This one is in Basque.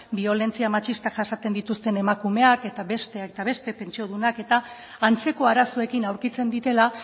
biolentzia matxista jasaten dituzten emakumeak eta beste eta beste pentsiodunak eta antzeko arazoekin aurkitzen direla